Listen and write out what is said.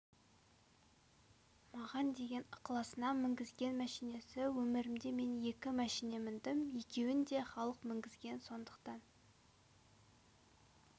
маған деген ықыласынан мінгізген мәшинесі өмірімде мен екі мәшине міндім екеуін де халық мінгізген сондықтан